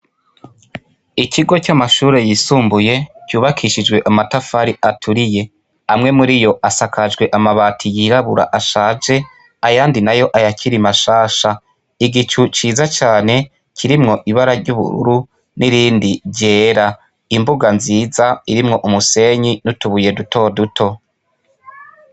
Ikigo c'amashure yisumbuye cubakishijwe amatafari aturiye, amwe muriyo asakajwe amabati yirabura ashaje ayandi nayo ayakiri mashasha, igicu ciza cane kirimwo ibara ry'ubururu n'irindi ryera, imbuga nziza irimwo umusenyi n'utubuye duto duto.